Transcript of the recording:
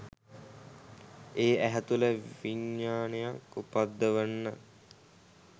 ඒ ඇහැ තුළ විඤ්ඤාණයක් උපද්දවන්න